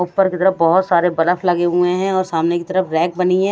ऊपर की तरफ बहुत सारे बलफ लगे हुए हैं और सामने की तरफ रैक बनी है।